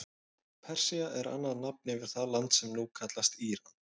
Persía er annað nafn yfir það land sem nú kallast Íran.